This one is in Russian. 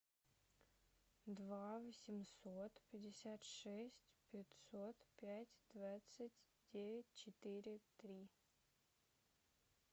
два восемьсот пятьдесят шесть пятьсот пять двадцать девять четыре три